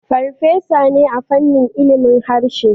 Farfesa ne a fannin ilimin harshe